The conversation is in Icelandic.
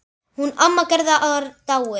Hún amma Gerða er dáin.